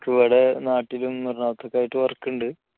എനിക്കിവിടെ നാട്ടിലും എറണാകുളത്ത് ഒക്കെ ആയിട്ട് work ഉണ്ട്